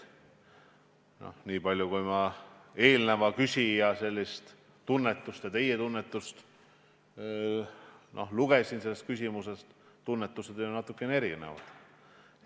Niipalju, kui ma eelmise küsija tunnetust ja teie tunnetust selles küsimuses tabasin, siis näen, et tunnetused on natuke erinevad.